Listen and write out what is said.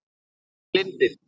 Hvar er lindin?